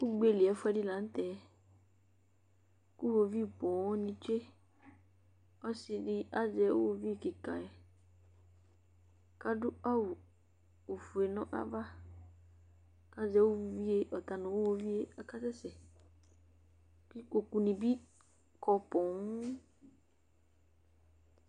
Ugbeli ayʊ ɛfuɛdɩ la nutɛ, kʊ woviu poo ni tsue kʊ ɔsidɩ azɛ iwoviu be dɩ, adʊ awu ofue nʊ ava, kʊ ɔta nʊ iwoviu yɛ kasɛ sɛ, kʊ ikpokunɩ bɩ kɔ poo